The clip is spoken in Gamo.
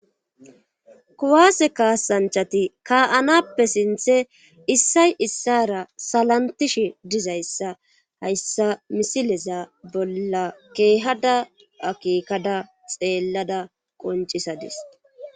kuwaase kaasanchati ka7anappe sinthe issay issara salantishe dizayssa hayssa misileza bolla keehada akeekada xeellada qoncisadis